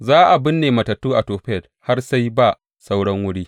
Za a binne matattu a Tofet har sai ba sauran wuri.